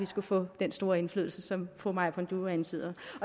skulle få den store indflydelse som fru maja panduro antyder